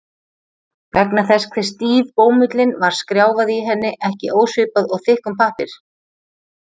Vegna þess hve stíf bómullin var skrjáfaði í henni ekki ósvipað og í þykkum pappír.